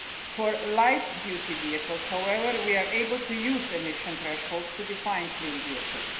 For light-duty vehicles, however, we are able to use emission thresholds to define clean vehicles.